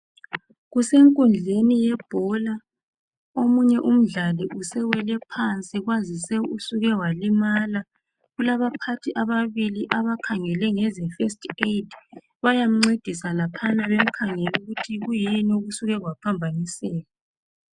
Kusenkundleni yebhola. Omunye umdlali usewele phansi kwazise usuke walimala. Kulabaphathi ababili abakhangele ngeze (First Aid) , bayamncedisa laphana bemkhangela ukuthi kuyini okusuke kwaphambaniseka .